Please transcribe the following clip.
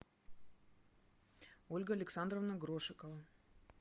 ольга александровна грошикова